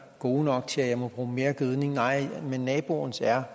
gode nok til at jeg må bruge mere gødning nej men naboens er